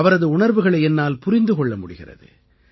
அவரது உணர்வுகளை என்னால் புரிந்து கொள்ள முடிகிறது